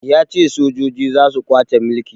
Ya ce sojoji za su kwace mulki